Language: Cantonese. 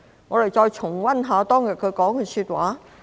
我們再重溫一下當天毛議員說的話。